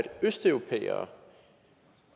østeuropæere